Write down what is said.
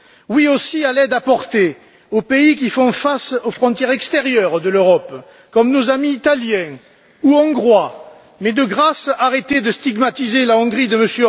Oui aussi à l'aide apportée aux pays qui font face aux frontières extérieures de l'Europe, comme nos amis italiens ou hongrois mais, de grâce, arrêtez de stigmatiser la Hongrie de M.